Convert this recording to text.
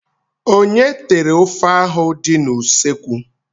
Onye tere ofe ahụ dị n'ụsọekwu?